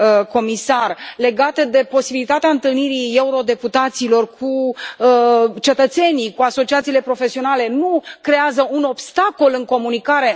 comisar legate de posibilitatea întâlnirii eurodeputaților cu cetățenii, cu asociațiile profesionale nu creează un obstacol în comunicare?